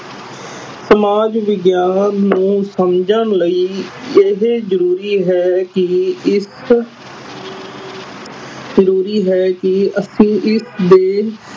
ਸਮਾਜ ਵਿਗਿਆਨ ਨੂੰ ਸਮਝਣ ਲਈ ਇਹ ਜ਼ਰੂਰੀ ਹੈ ਕੇ ਇਸ ਜ਼ਰੂਰੀ ਹੈ ਕੇ ਅਸੀ ਇਸਦੇ